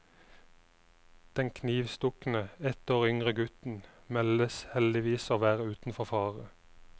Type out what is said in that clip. Den knivstukne, ett år yngre gutten, meldes heldigvis å være utenfor fare.